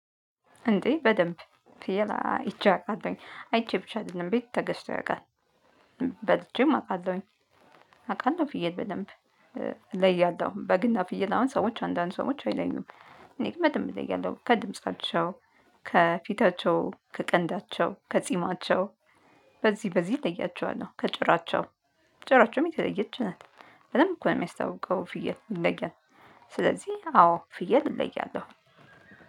እንዴ በደንብ ፍየል አይቼ አውቃለሁኝ አይቼ ብቻ አይደለም ቤት ተገዝቶ ያውቃል። በልቼም አውቃለሁኝ። አውቃለሁ ፍየል በደንብ እለያለሁ በግና ፍየል አሁን ሰዎች አንዳንድ ሰዎች አይለዩም። እኔ ግን በደንብ እለያለሁ ከድምጻቸው። ከፊታቸው ከቀንዳቸው ከጺማቸው። በዚህ በዚህ እለያቸዋለሁ ከጭራቸው። ጭራቸውም የተለየች ናት። በደንብ እኮ ነው የሚያስታውቀው ፍየል ይለያል። ስለዚህ አዎ ፍየል እለያለሁ።